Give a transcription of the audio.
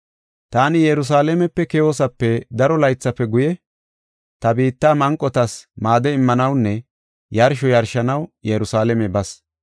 “Taani Yerusalaamepe keyoosape daro laythafe guye ta biitta manqotas maade immanawunne yarsho yarshanaw Yerusalaame bas.